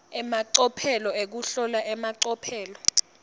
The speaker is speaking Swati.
emacophelo ekuhlola emacophelo